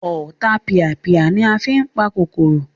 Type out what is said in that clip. Ọ̀tapìàpìà ni a fí n pa kòkòrò